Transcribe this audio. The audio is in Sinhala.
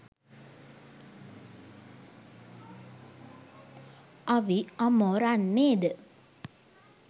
අවි අමෝරන්නේ ද